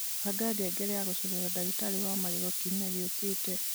banga ngengere ya gũceerera ndagĩtarĩ wa magego kiumia gĩũkĩte